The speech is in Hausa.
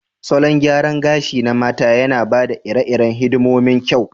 Salon gyaran gashi na mata yana ba da iri-irin hidimomin kyau.